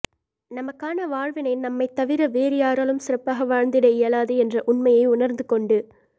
நமக்கான வாழ்வினை நம்மைத் தவிர வேறு யாராலும் சிறப்பாக வாழ்ந்திட இயலாது என்ற உண்மையை உணர்ந்து கொண்டு